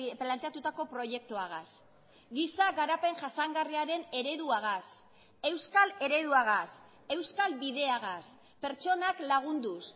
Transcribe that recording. planteatutako proiektuagaz giza garapen jasangarriaren ereduagaz euskal ereduagaz euskal bideagaz pertsonak lagunduz